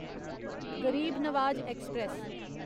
गरीब नवाज ऐक्सप्रैस